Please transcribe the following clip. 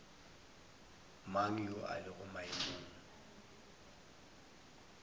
mang yo a lego maemong